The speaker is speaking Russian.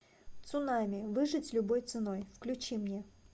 цунами выжить любой ценой включи мне